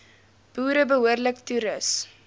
boere behoorlik toerus